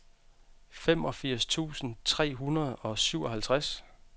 femogfirs tusind tre hundrede og syvoghalvtreds